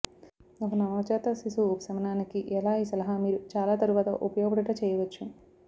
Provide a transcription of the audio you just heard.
ఒక నవజాత శిశువు ఉపశమనానికి ఎలా ఈ సలహా మీరు చాలా తరువాత ఉపయోగపడుట చేయవచ్చు